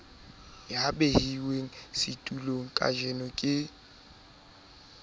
ya behwang setulong kajeno ke